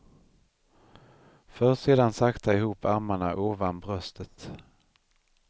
För sedan sakta ihop armarna ovan bröstet.